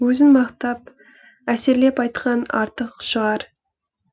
өзін мақтап әсерлеп айтқан артық шығар